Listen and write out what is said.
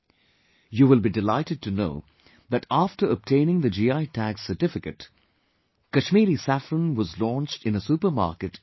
You will be delighted to know that after obtaining the GI Tag certificate, Kashmiri Saffron was launched in a supermarket in Dubai